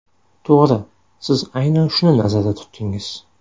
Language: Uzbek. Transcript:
To‘g‘ri, siz aynan shuni nazarda tutdingiz.